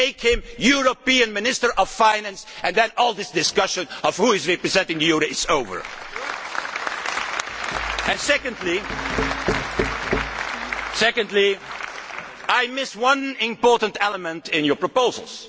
Make him European Minister of Finance and then all this discussion of who is representing the euro would be over. Secondly, I missed one important element in your proposals.